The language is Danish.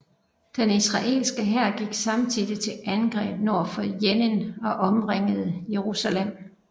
Den israelske hær gik samtidig til angreb nord for Jenin og omringede Jerusalem